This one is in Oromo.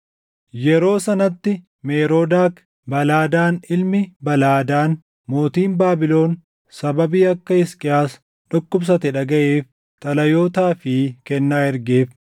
Yeroo sanatti Meroodak Baladaan ilmi Baladaan mootiin Baabilon sababii akka Hisqiyaas dhukkubsate dhagaʼeef xalayootaa fi kennaa ergeef.